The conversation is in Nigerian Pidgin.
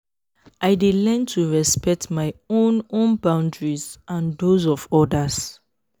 i dey learn to respect my own own boundaries and those of others.